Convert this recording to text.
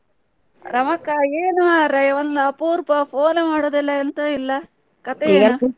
ರಮಕ್ಕ ಏನು ಮರ್ರೆ ಒಂದು ಅಪ್ರೂಪ phone ಮಾಡೋದಿಲ್ಲ ಎಂತದು ಇಲ್ಲ .